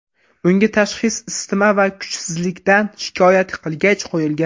Unga tashxis isitma va kuchsizlikdan shikoyat qilgach, qo‘yilgan.